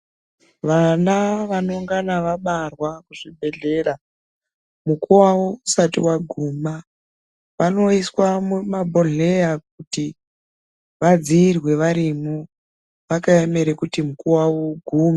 Vana vanongana vabarwa muzvibhehlera mukuwo wawo usati waguma vanoiswa mumabhodhleya kuti vadziirwe varimwo vakaemerae kuti mukuwo wawo ugume.